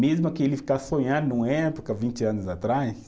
Mesma que ele ficar numa época, vinte anos atrás,